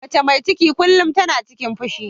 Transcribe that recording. Mace mai ciki kullum tana cikin fushi.